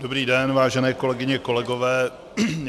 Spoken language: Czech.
Dobrý den, vážené kolegyně, kolegové.